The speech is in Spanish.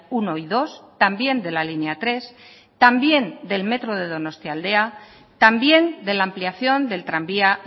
uno y dos también de la línea tres también del metro de donostialdea también de la ampliación del tranvía